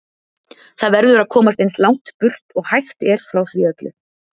Það verður að komast eins langt burt og hægt er frá því öllu.